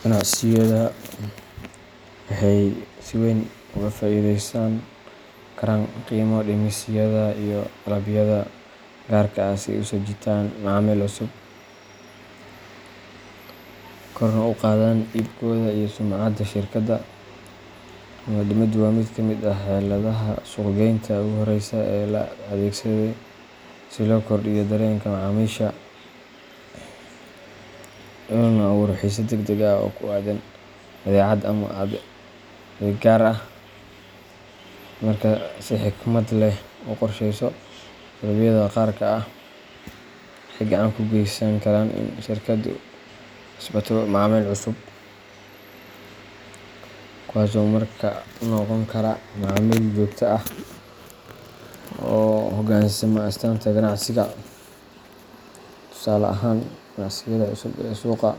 Ganacsiyadu waxay si weyn uga faa’iideysan karaan qiimo dhimisyada iyo dalabyada gaarka ah si ay u soo jiitaan macaamiil cusub, korna ugu qaadaan iibkooda iyo sumcadda shirkadda. Qiimo dhimiddu waa mid ka mid ah xeeladaha suuq-geynta ugu horeeya ee la adeegsado si loo kordhiyo dareenka macaamiisha loona abuuro xiise degdeg ah oo ku aaddan badeecad ama adeeg gaar ah. Marka si xikmad leh loo qorsheeyo, dalabyada gaarka ah waxay gacan ka geysan karaan in shirkaddu kasbato macaamiil cusub, kuwaasoo markaa noqon kara macaamiil joogto ah oo u hogaansama astaanta ganacsiga. Tusaale ahaan, ganacsiyada cusub ee suuqa